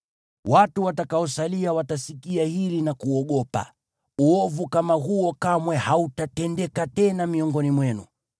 Watu watakaosalia watasikia hili na kuogopa, uovu kama huo kamwe hautatendeka tena miongoni mwenu.